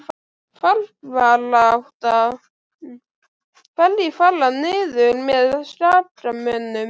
Fallbaráttan- Hverjir fara niður með Skagamönnum?